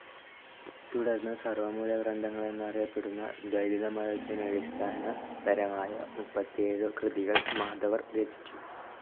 തുടർന്നു സർവമൂലഗ്രന്ഥങ്ങളെന്നറിയപ്പെടുന്ന ദ്വൈതതമതത്തിനടിസ്ഥാന പരമായമുപ്പത്തിയേഴു കൃതികൾ മാധവർ രചിച്ചു.